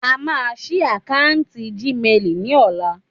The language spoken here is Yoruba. A máa ṣí akáǹtì Gmail ni ola